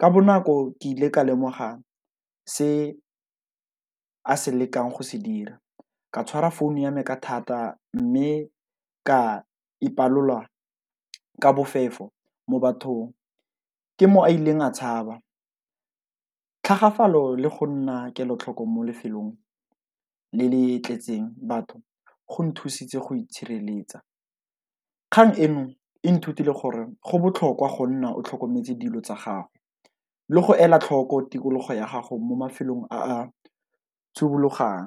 ka bonako ke ile ka lemoga se a se lekang go se dira, ka tshwara phone ya me ka thata mme ka ipalola ka bofefo mo bathong, ke mo a ileng a tshaba. Tlhagafalo le go nna kelotlhoko mo lefelong le le tletseng batho go nthusitse go itshireletsa, kgang eno e nthutile gore go botlhokwa go nna o tlhokometse dilo tsa gago le go ela tlhoko tikologo ya gago mo mafelong a a tshubologang.